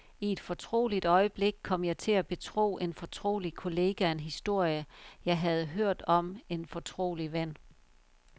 I et fortroligt øjeblik kom jeg til at betro en fortrolig kollega en historie, jeg havde hørt om en fortrolig ven.